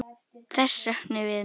Þess söknum við nú.